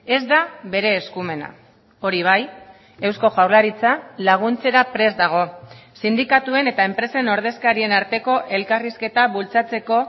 ez da bere eskumena hori bai eusko jaurlaritza laguntzera prest dago sindikatuen eta enpresen ordezkarien arteko elkarrizketa bultzatzeko